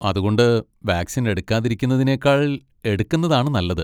അതുകൊണ്ട് വാക്സിൻ എടുക്കാതിരിക്കുന്നതിനേക്കാൾ എടുക്കുന്നതാണ് നല്ലത്.